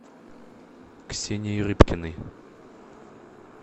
ксенией рыбкиной